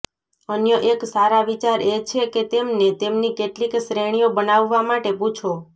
અન્ય એક સારા વિચાર એ છે કે તેમને તેમની કેટલીક શ્રેણીઓ બનાવવા માટે પૂછો